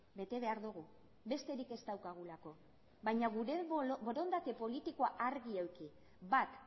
bete behar dugu besterik ez daukagulako baina gure borondate politikoa argi eduki bat